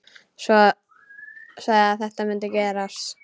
Sagði að þetta mundi gerast.